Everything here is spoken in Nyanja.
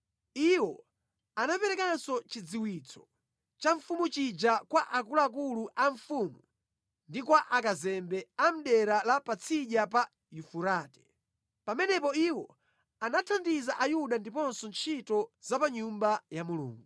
Iwo anaperekanso chidziwitso cha mfumu chija kwa akuluakulu a mfumu ndi kwa akazembe a mʼdera la Patsidya pa Yufurate. Pamenepo iwo anathandiza Ayuda ndiponso ntchito za pa Nyumba ya Mulungu.